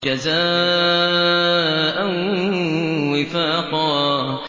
جَزَاءً وِفَاقًا